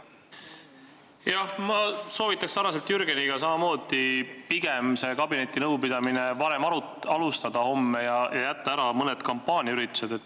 Jah, ma soovitan samamoodi nagu Jürgen pigem seda kabinetinõupidamist homme varem alustada ja jätta ära mõned kampaaniaüritused.